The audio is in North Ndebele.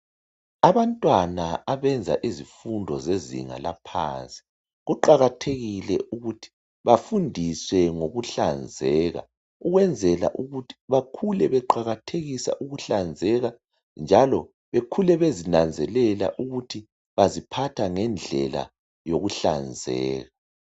Abantwana abenza izifundo zezinga laphansi, kuqakathekile ukuthi bafundiswe ngokuhlanzeka ukwenzela ukuthi bakhule beqakathekisa ukuhlanzeka njalo bakhule bezinanzelela ukuthi baziphatha ngendlela yokuhlanzeka.